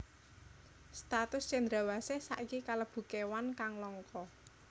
Status cendrawasih saiki kalebu kéwan kang langka